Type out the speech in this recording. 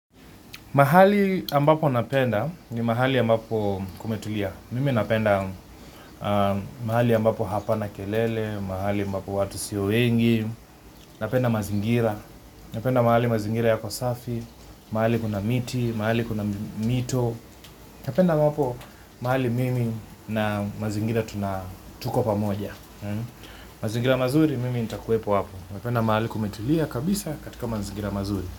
Mahali ambapo napenda ni mahali ambapo kumetulia. Mimi napenda mahali ambapo hapana kelele, mahali ambapo watu sio wengi, napenda mazingira. Napenda mahali mazingira yako safi, mahali kuna miti, mahali kuna mito. Napenda mahali mimi na mazingira tuna tuko pa moja. Mazingira mazuri, mimi nitakuwepo hapo. Napenda mahali kumetulia kabisa katika mazingira mazuri.